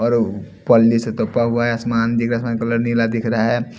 और पल्ली से तपा हुआ है आसमान दिख रहा है कलर नीला दिख रहा है।